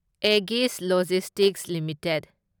Aegis logistics limited